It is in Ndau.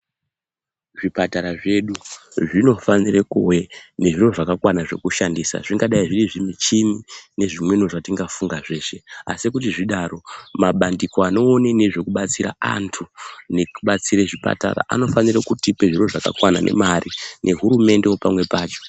Zvipatara zvedu zvinofnofane kuve ngezviro zvakakwana zvekushandisa. Zvingadai zviri zvimuchini nezvimweniwo zvatingafunga zveshe. Asi kuti zvidaro, mabandiko anoone nezvekubatsira antu nekubatsire zvipatara anofanire kutipe zviro zvakakwana nemare nehurumendewo pamwe pacho.